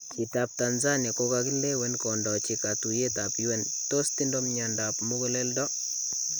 Chitab Tanzania kokakilewen kondochi katuyeetab UN tos tindo myandap muguleldo?